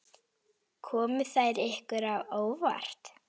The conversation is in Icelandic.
Komu þær ykkur á óvart?